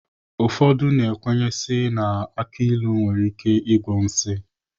Ụfọdụ ndị kwenyere na aki ilu nwere ike ịgwọ nsi.